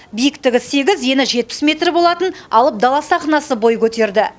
биіктігі сегіз ені жетпіс метр болатын алып дала сахнасы бой көтерді